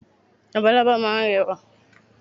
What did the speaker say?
Labalábá máa ń rẹwà